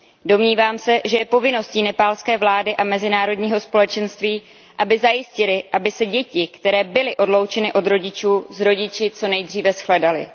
Domnívám se, že je povinností nepálské vlády a mezinárodního společenství, aby zajistily, aby se děti, které byly odloučeny od rodičů, s rodiči, co nejdříve shledaly.